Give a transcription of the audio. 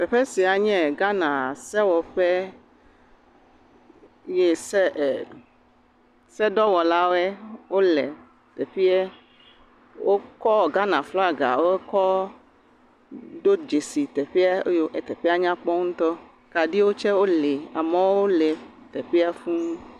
Teƒe sia nye Ghana sewɔƒe ye se e se dɔwɔlawo le teƒea. Wokɔ Ghana flaga wokɔ do dzesi teƒe eye teƒea nya kpɔ ŋutɔ. Kaɖiwo tsɛ woli, amewo li teƒea fũu.